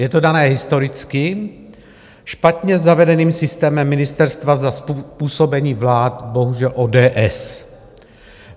Je to dané historicky špatně zavedeným systémem ministerstva za působení vlád - bohužel - ODS.